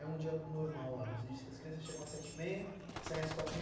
É um dia normal lá, você disse que as crianças chegam às sete e meia e saem às quatro e